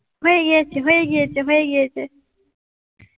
হয়ে গিয়েছে হয়ে গিয়েছে হয়ে গিয়েছে